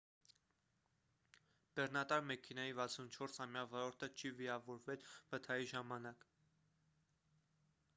բեռնատար մեքենայի 64-ամյա վարորդը չի վիրավորվել վթարի ժամանակ